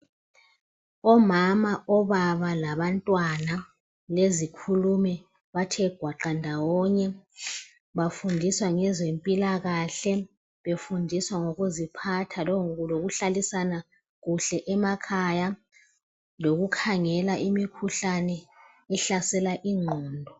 Omama, obaba, labantwana, lezikhulumi bathe gwaqa ndawonye bafundiswa ngezempilakahle befundiswa ngokuziphatha lokuhlalisana kuhle emakhaya lokukhangela imikhuhlane ehlasela ingqondo